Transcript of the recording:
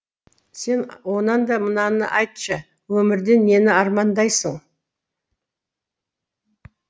сен онанда мынаны айтшы өмірде нені армандайсың